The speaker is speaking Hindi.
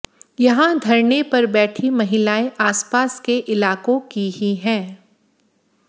यहां धरने पर बैठी महिलाएं आसपास के इलाकों की ही हैं